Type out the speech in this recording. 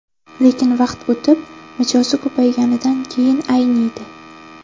Lekin vaqt o‘tib, mijozi ko‘payganidan keyin ayniydi.